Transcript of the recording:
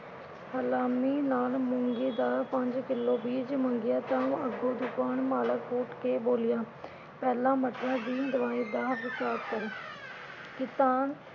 ਹਲਾਮੀ ਨਾਲ ਮੂੰਗੀ ਦਾ ਪੰਜ ਕਿਲੋ ਬੀਜ ਮੰਗਿਆ ਤਾਂ ਅੱਗੋਂ ਦੁਕਾਨ ਮਾਲਕ ਉਠ ਕੇ ਬੋਲਿਆ ਪਹਿਲਾ ਦੀ ਦਵਾਈ ਜਾ ਹਿਸਾਬ ਕਰੋ।